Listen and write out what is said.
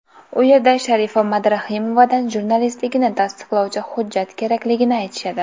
U yerda Sharifa Madrahimovadan jurnalistligini tasdiqlovchi hujjat kerakligini aytishadi.